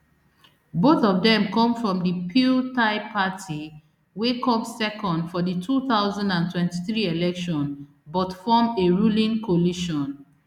both of dem come from di pheu thai party wey come second for di two thousand and twenty-three election but form a ruling coalition